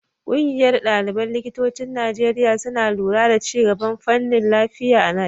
Ƙungiyar ɗaliban likitocin Najeriya suna lura da ci gaban fannin lafiya na Najeriya.